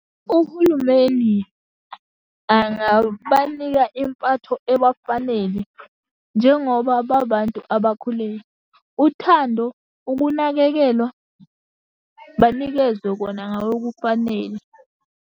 Uhulumeni angabanika impatho ebafanele, njengoba babantu abakhule. Uthando, ukunakekelwa, banikezwe kona ngokokufanele.